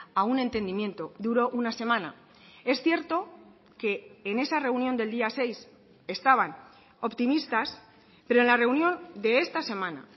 a un entendimiento duró una semana es cierto que en esa reunión del día seis estaban optimistas pero en la reunión de esta semana